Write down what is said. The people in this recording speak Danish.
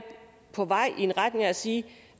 på vej i retning af at sige